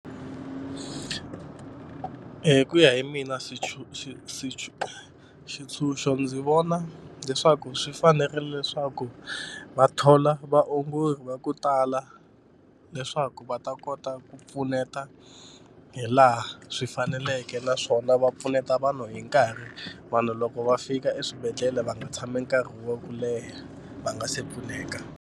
Hi ku ya hi mina xitshunxo ndzi vona leswaku swi fanerile leswaku va thola vaongori va ku tala leswaku va ta kota ku pfuneta hi laha swi faneleke naswona va pfuneta vanhu hi nkarhi. Vanhu loko va fika eswibedhlele va nga tshami nkarhi wa ku leha va nga se pfuneka.